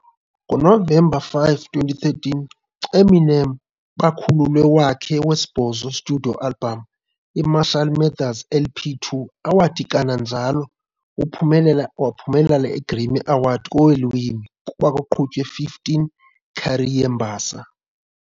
Ngonovemba 5, 2013, Eminem bakhululwe wakhe wesibhozo Studio album, i-Marshall Mathers LP 2, awathi kanjalo uphumelele a Grammy kweelwimi, kuba kuqhutywe 15 career mbasa.